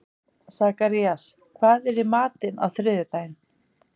Sakarías, hvað er í matinn á þriðjudaginn?